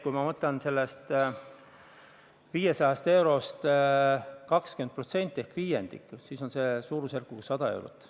Kui ma võtan sellest 500 eurost ära 20% ehk viiendiku, siis on see suurusjärk 100 eurot.